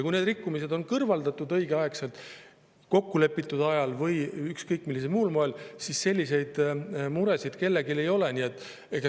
Kui need rikkumised on kõrvaldatud õigeaegselt, kokkulepitud ajaks või ükskõik millisel muul moel, siis selliseid muresid kellelgi ei ole.